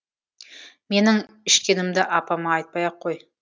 менің ішкенімді апама айтпай ақ қой